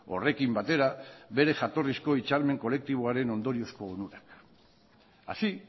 horrekin batera bere jatorrizko hitzarmen kolektiboaren ondoriozko onurak así